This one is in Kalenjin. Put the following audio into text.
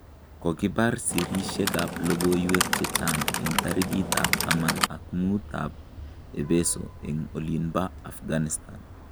kokibar sirishek ab logoiywek chechang eng tarikit ab taman ak mut ab ebeeso eng olinba afghanistan